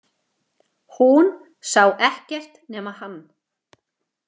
Hún sá ekkert nema hann!